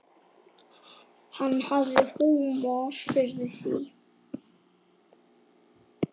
Hann hafði húmor fyrir því.